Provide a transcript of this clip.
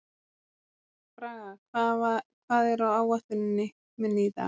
Braga, hvað er á áætluninni minni í dag?